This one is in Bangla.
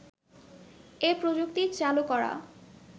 এ প্রযুক্তি চালু করা